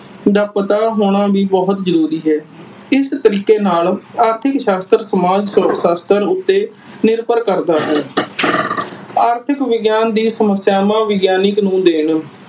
ਦਾ ਪਤਾ ਹੋਣਾ ਵੀ ਬਹੁਤ ਜਰੂਰੀ ਹੈ। ਇਸ ਤਰੀਕੇ ਨਾਲ ਆਰਥਿਕ ਸ਼ਾਸਤਰ ਸਮਾਜ ਸ਼ਾਸਤਰ ਉਤੇ ਨਿਰਬਰ ਕਰਦਾ ਹੈ । ਆਰਥਿਕ ਵਿਗਿਆਨ ਦੀ ਸਮਸਿਆਵਾਂ ਵਿਗਿਆਨਿਕ ਨੂੰ ਦੇਣ